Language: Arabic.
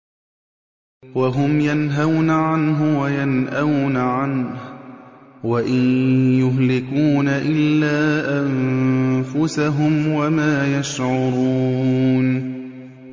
وَهُمْ يَنْهَوْنَ عَنْهُ وَيَنْأَوْنَ عَنْهُ ۖ وَإِن يُهْلِكُونَ إِلَّا أَنفُسَهُمْ وَمَا يَشْعُرُونَ